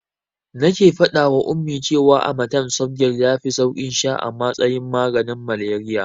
Nake faɗawa Ummi cewa amatem softgel yafi saukin sha a matsayin maganin malaria.